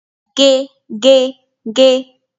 Gé! Gé! Gé!